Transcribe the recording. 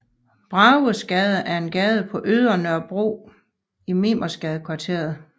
Bragesgade er en gade på Ydre Nørrebro i Mimersgadekvarteret